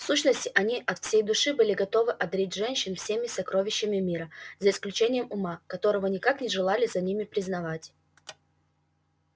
в сущности они от всей души были готовы одарить женщин всеми сокровищами мира за исключением ума которого никак не желали за ними признавать